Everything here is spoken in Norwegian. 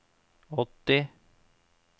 åtti